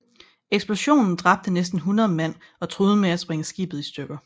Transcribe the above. Eksplosionen dræbte næsten 100 mand og truede med at sprænge skibet i stykker